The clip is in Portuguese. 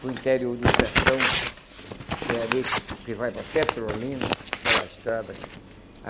para o interior do sertão, que é ali que que vai para Petrolina, aquela estrada aqui.